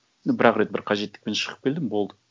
бір ақ рет бір қажеттікпен шығып келдім болды